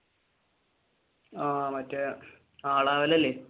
ആഹ് മറ്റേ നാളെ മുതൽ അല്ലെ